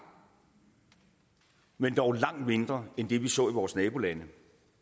men dog langt mindre end det vi så i vores nabolande